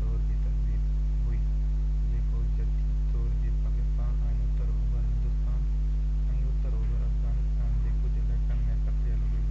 دور جي تهذيب هئي جيڪو جديد دور جي پاڪستان ۽ اتر اوڀر هندوستان ۽ اتر اوڀر افغانستان جي ڪجهہ علائقن ۾ پکڙيل هئي